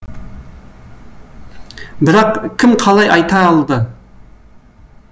бірақ кім қалай айта алды